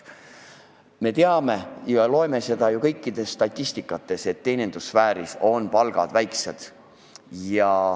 Me teame ja näeme ju statistikast, et teenindussfääris on palgad väiksed.